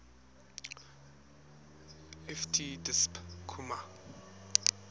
ft disp comma